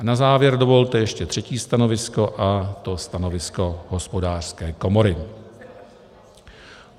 A na závěr dovolte ještě třetí stanovisko, a to stanovisko Hospodářské komory.